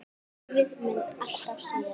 Lífið mun alltaf sigra.